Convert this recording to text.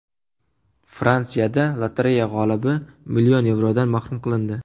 Fransiyada lotereya g‘olibi million yevrodan mahrum qilindi.